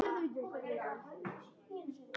Hún fær kraft.